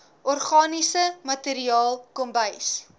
organiese materiaal kombuis